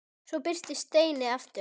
Svo birtist Steini aftur.